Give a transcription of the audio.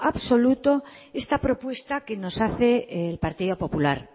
absoluto esta propuesta que nos hace el partido popular